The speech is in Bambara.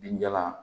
Binjalan